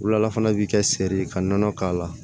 Wula fana bi kɛ seri ka nɔnɔ k'a la